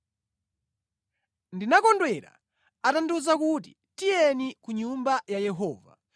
Ndinakondwera atandiwuza kuti, “Tiyeni ku nyumba ya Yehova.”